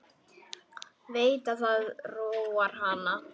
Veit að það róar hann.